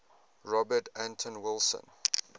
robert anton wilson